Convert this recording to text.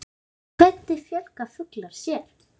Hvernig fjölga fuglar sér.